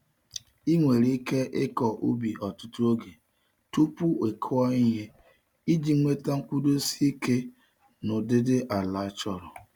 Ị nwere ike ịkọ ubi ọtụtụ oge tupu ị kụọ ihe iji nweta nkwụdosi ike na ụdịdị ala achọrọ.